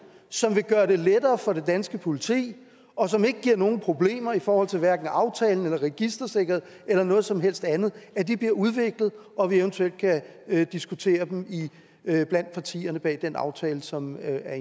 som vil gøre det lettere for det danske politi og som ikke giver nogen problemer i forhold til aftalen registersikkerheden eller noget som helst andet bliver udviklet og at vi eventuelt kan diskutere dem blandt partierne bag den aftale som er